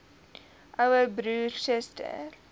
ouer broer suster